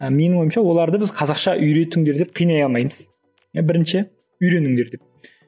а менің ойымша оларды біз қазақша үйретіңдер деп қинай алмаймыз иә бірінші үйреніңдер деп